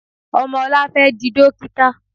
Ọmọ ọlá fẹ́ di dókítà.